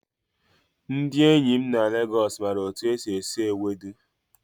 Ndị enyi m na Legos maara otu esi esi Ewedu.